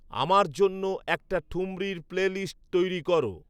আমার জন্য একটা ঠুমরীর প্লেলিস্ট তৈরি করো